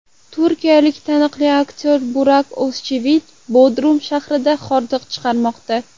Turkiyalik taniqli aktyor Burak O‘zchivit Bodrum shahrida hordiq chiqarmoqda.